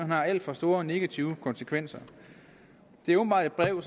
har alt for store negative konsekvenser det er åbenbart et brev